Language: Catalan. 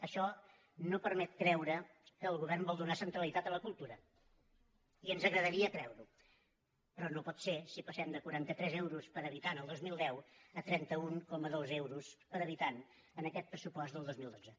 això no permet creure que el govern vol donar centralitat a la cultura i ens agradaria creure ho però no pot ser si passem de quaranta tres euros per habitant el dos mil deu a trenta un coma dos euros per habitant en aquest pressupost del dos mil dotze